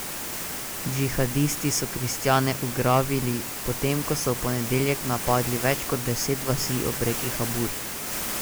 Džihadisti so kristjane ugrabili, potem ko so v ponedeljek napadli več kot deset vasi ob reki Habur.